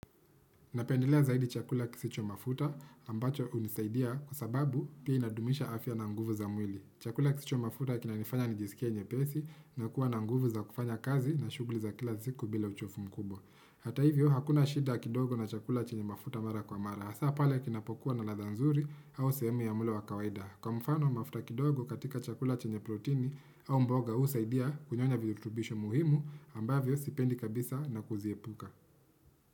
Napendelea zaidi chakula kisicho mafuta ambacho hunisaidia kwa sababu pia inadumisha afya na nguvu za mwili. Chakula kisicho mafuta kinanifanya nijisikie nyepesi na kuwa na nguvu za kufanya kazi na shughuli za kila ziku bila uchovu mkubwa. Hata hivyo hakuna shida kidogo na chakula chenye mafuta mara kwa mara. Hasa pale kinapokuwa na ladha nzuri au sehemu ya mlo wa kawaida. Kwa mfano mafuta kidogo katika chakula chenye protini au mboga husaidia kunyonya vijutubisho muhimu ambavyo sipendi kabisa na kuziepuka.